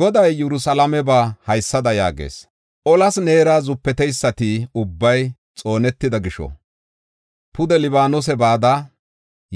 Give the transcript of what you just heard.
Goday Yerusalaameba haysada yaagees: “Olas neera zupeteysati ubbay xoonetida gisho, pude Libaanose bada,